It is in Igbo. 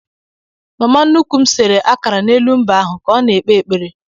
Mama nnukwu m sere akara n'elu mbe ahụ ka ọ na-ekpe ekpere.